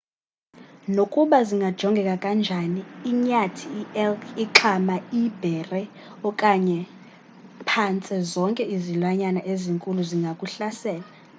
nokuba zingajongeka kanjani inyathi ielk ixhama iibhere kwaye phantse zonke izilwanyana ezinkulu zingakuhlasela